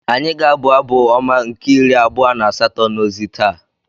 Anyị ga-abụ Abụ Ọma nke iri abua na asato n’ozi taa.